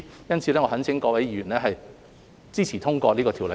因此，我懇請各位議員支持及通過《條例草案》。